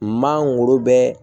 Maa wolo bɛ